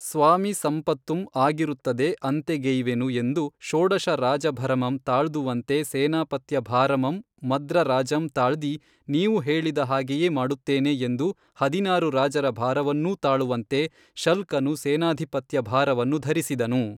ಸ್ವಾಮಿ ಸಂಪತ್ತುಂ ಆಗಿರುತ್ತದೆ ಅಂತೆಗೆಯ್ವೆನು ಎಂದು ಷೋಡಶ ರಾಜಭರಮಂ ತಾಳ್ದುವಂತೆ ಸೇನಾಪತ್ಯಭಾರಮಂ ಮದ್ರರಾಜಂ ತಾಳ್ದಿ ನೀವು ಹೇಳಿದ ಹಾಗೆಯೇ ಮಾಡುತ್ತೇನೆ ಎಂದು ಹದಿನಾರು ರಾಜರ ಭಾರವನ್ನೂ ತಾಳುವಂತೆ ಶಲ್ಕನು ಸೇನಾಧಿಪತ್ಯ ಭಾರವನ್ನು ಧರಿಸಿದನು